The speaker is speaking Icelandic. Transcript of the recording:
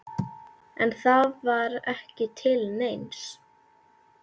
En það var ekki til neins.